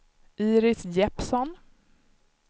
Iris Jeppsson